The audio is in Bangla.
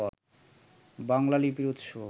বাংলা লিপির উৎস